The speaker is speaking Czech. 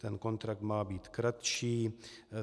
Ten kontrakt má být kratší.